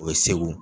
O ye segu